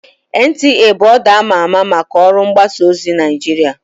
NTA bụ ọdụ ama ama maka ọrụ mgbasa ozi Naịjirịa